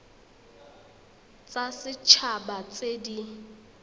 tsa set haba tse di